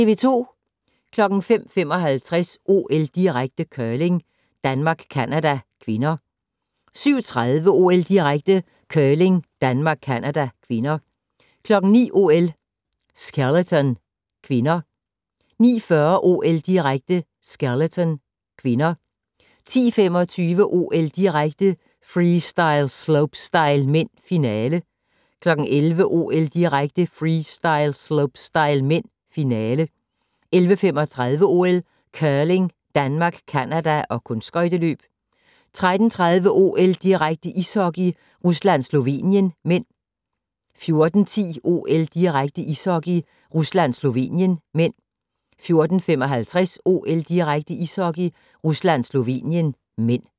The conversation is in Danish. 05:55: OL-direkte: Curling - Danmark-Canada (k) 07:30: OL-direkte: Curling - Danmark-Canada (K) 09:00: OL: Skeleton (k) 09:40: OL-direkte: Skeleton (k) 10:25: OL-direkte: Freestyle - slopestyle (m), finale 11:00: OL-direkte: Freestyle - slopestyle (m), finale 11:35: OL: Curling - Danmark-Canada og kunstskøjteløb 13:30: OL-direkte: Ishockey - Rusland-Slovenien (m) 14:10: OL-direkte: Ishockey - Rusland-Slovenien (m) 14:55: OL-direkte: Ishockey - Rusland-Slovenien (m)